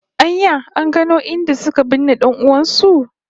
An ya an gano inda suka binne dan'uwan su?